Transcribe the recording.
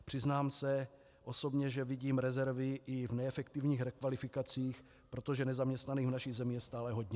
Přiznám se osobně, že vidím rezervy i v neefektivních rekvalifikacích, protože nezaměstnaných v naší zemi je stále hodně.